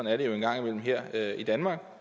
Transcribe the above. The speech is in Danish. er det jo en gang imellem her i danmark